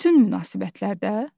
Bütün münasibətlərdə?